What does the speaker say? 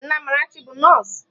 Nne Amarachi bụ nọọsụ.